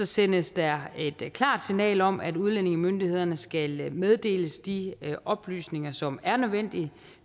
sendes der et klart signal om at udlændingemyndighederne skal meddeles de oplysninger som er nødvendige